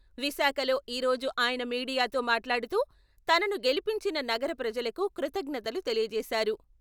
విశాఖలో ఈ రోజు ఆయన మీడియాతో మాట్లాడుతూ, తనను గెలిపించిన నగర ప్రజలకు కృతజ్ఞతలు తెలియజేశారు.